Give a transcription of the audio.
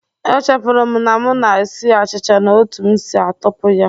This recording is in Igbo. Echefuru m na m na-esi achịcha na otú m si atọpụ ya